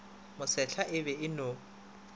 mosehla e be e no